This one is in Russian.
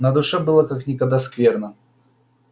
на душе было как никогда скверно